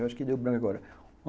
Eu acho que deu branco agora.